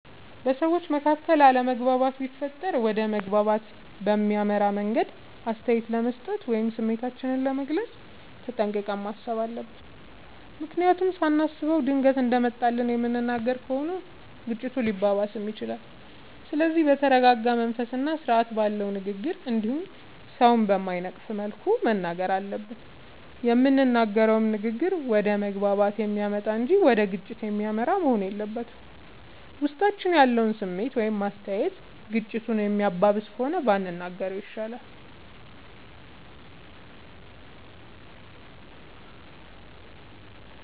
በሠዎች መካከል አለመግባባት ቢፈጠር ወደ መግባባት በሚያመራ መንገድ አስተያየት ለመስጠት ወይም ስሜታችንን ለመግለፅ ተጠንቅቀን ማሠብ አለብ። ምክንያቱም ሳናስበው ድንገት እንደመጣልን የምንናገር ከሆነ ግጭቱ ሊባባስም ይችላል። ስለዚህ በተረረጋ መንፈስና ስርአት ባለው ንግግር እንዲሁም ሠውን በማይነቅፍ መልኩ መናገር አለብን። የምንናገረውም ንግግር ወደ መግባባት የሚያመጣ እንጂ ወደ ግጭት የሚመራ መሆን የለበትም። ውስጣችን ያለው ስሜት ወይም አስተያየት ግጭቱን የሚያባብስ ከሆነ ባንናገረው ይሻላል።